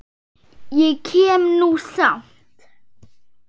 Ég kem nú samt!